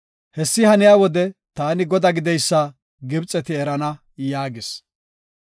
Hessi haniya wode taani godaa gididaysa Gibxeti erana” yaagis.